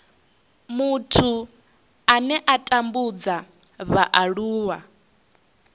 muthu ane a tambudza vhaaluwa